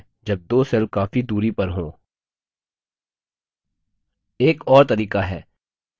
यह तरीका उपयोगी है जब दो cells काफी दूरी पर हों